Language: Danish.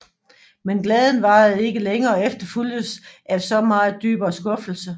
Men glæden varede ikke længe og efterfulgtes af så meget dybere skuffelse